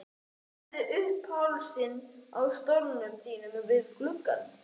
Lömuð uppað hálsi í stólnum þínum við gluggann.